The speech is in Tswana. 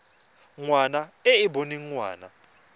ngwana e e boneng ngwana